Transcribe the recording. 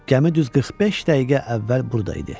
Gəmi düz 45 dəqiqə əvvəl burada idi.